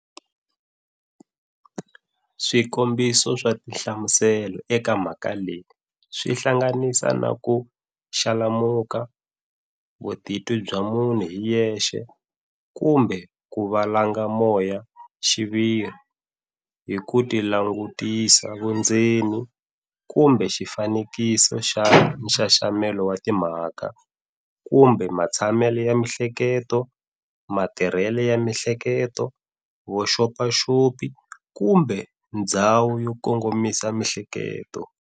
Swikombiso swa tihlamuselo eka mhaka leyi swi hlanganisa na-ku xalamuka, vutitwi bya munhu hi yexe kumbe ku valanga moyaxiviri hi"kutilangutisa vundzeni", kumbe xifanekiso xa nxaxamelo wa timhaka, kumbe matshamele ya mihleketo, matirhele ya mihleketo, vuxopaxopi kumbe ndzhawu yo kongomisa mihleketo.